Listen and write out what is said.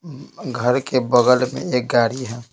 घर के बगल में एक गाड़ी है।